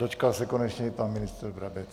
Dočkal se konečně i pan ministr Brabec.